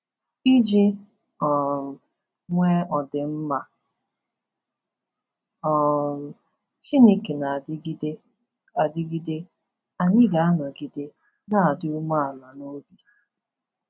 Iji um nwee ọdịmma um Chineke na-adịgide adịgide, anyị ga-anọgide na-adị umeala n’obi.